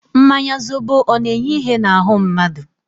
Mmanya zobo ọ na-enye ihe n'ahu mmadu?